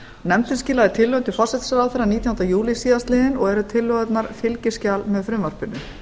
nefndin skilaði tillögum til forsætisráðherra nítjánda júlí síðastliðinn og eru tillögurnar fylgiskjal með frumvarpinu